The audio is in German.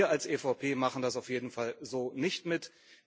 Wir als EVP machen das auf jeden Fall so nicht mit.